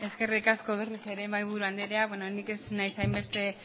eskerrik asko berriz ere mahaiburu andrea beno ni ez naiz hainbeste